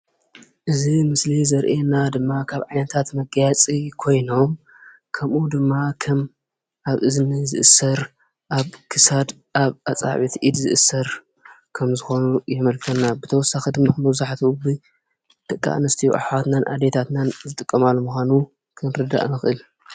እዚ ምስሊ ዘሪኤና ድማ ካብ ዓይነታት መጋየፂ ኮይኖም ከምኡ ድማ ከም ኣብ እዝኒ ዝእሰር ፣ኣብ ክሳድ ፣ኣብ ኣፃብዕቲ ኢድ ዝእሰር ከም ዝኮኑ የመልክተና። ብተወሳኪ ድማ መብዛሕትኡ ደቂ ኣንስትዮ ኣሕዋትናን ኣዴታትናን ዝጥቀማሉ ምኳኑ ክንርዳእ ንክእል።